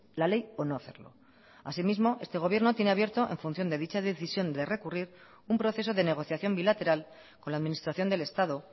la ley o no hacerlo asimismo este gobierno tiene abierto en función de dicha decisión de recurrir un proceso de negociación bilateral con la administración del estado